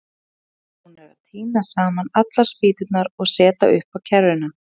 Þeir voru nú búnir að tína saman allar spýturnar og setja upp á kerruna.